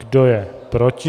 Kdo je proti?